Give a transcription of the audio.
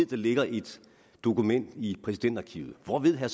der ligger et dokument i præsidentarkivet hvor ved herre